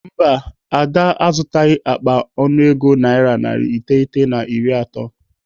Mba, Ada azụtaghị akpa ọnụego naira narị iteghete na iri atọ.